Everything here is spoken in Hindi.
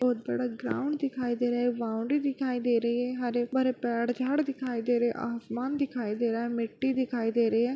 बड़ा ग्राउन्ड दिखाई दे रहा है वाउंडरी दिखाई दे रही है हरे-भरे पेड़ झाड़ दिखाई दे रहे हैं। आसमान दिखाई दे रहा है मिट्टी दिखाई दे रही है।